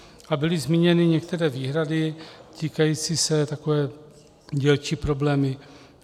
A byly zmíněny některé výhrady týkající se... takové dílčí problémy.